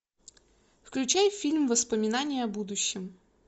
включай фильм воспоминания о будущем